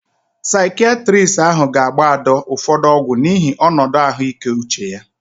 Saikiatristi ahụ ga agba Ada ụfọdụ ọgwu n'ihi onodu ahuike uche ya